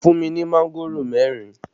Fún mi ní mángòrò mẹ́rin!